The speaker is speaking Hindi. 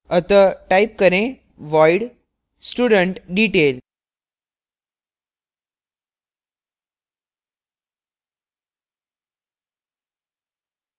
अतः type करें void studentdetail